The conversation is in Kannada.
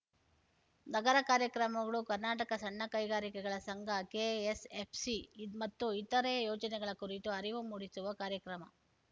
ನಗರ ಕಾರ್ಯಕ್ರಮಗಳು ಕರ್ನಾಟಕ ಸಣ್ಣ ಕೈಗಾರಿಕೆಗಳ ಸಂಘ ಕೆಎಸ್‌ಎಫ್‌ಸಿ ಮತ್ತು ಇತರೆ ಯೋಜನೆಗಳ ಕುರಿತು ಅರಿವು ಮೂಡಿಸುವ ಕಾರ್ಯಕ್ರಮ